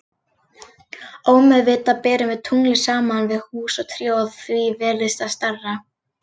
Ómeðvitað berum við tunglið saman við hús og tré og því virðist það stærra.